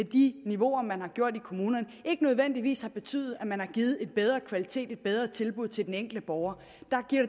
de niveauer man har gjort i kommunerne ikke nødvendigvis har betydet at man har givet en bedre kvalitet eller et bedre tilbud til den enkelte borger